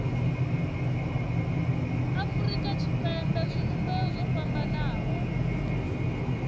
afurika tshipembe zwivhumbeo zwo fhambanaho